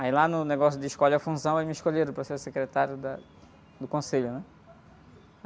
Aí lá no negócio de escolhe a função, eles me escolheram para ser secretário da do conselho, né?